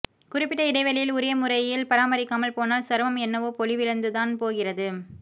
குறிப்பிட்ட இடைவெளியில் உரிய முறை யில் பராமரிக்காமல் போனால் சருமம் என்னவோ பொலிவிழந்துதான் போகிறது